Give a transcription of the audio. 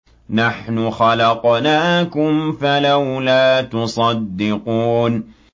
نَحْنُ خَلَقْنَاكُمْ فَلَوْلَا تُصَدِّقُونَ